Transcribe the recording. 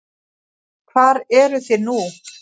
Hvar eru þið nú?